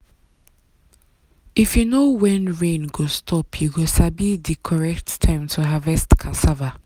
if you know when rain go stop you go sabi di correct time to harvest cassava.